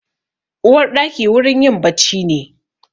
Uwarɗaki wurin yin bacci ne.